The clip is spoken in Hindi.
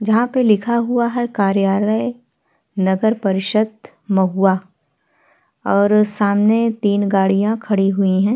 जहाँ पे लिखा हुआ है कार्यालय नगर परिषद महुआ और सामने तीन गाड़िया खड़ी हुई हैं।